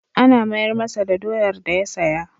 An mayar masa da doyar da ya saya.